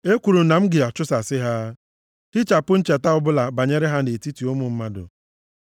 Ekwuru m na m ga-achụsasị ha, hichapụ ncheta ọbụla banyere ha nʼetiti ụmụ mmadụ.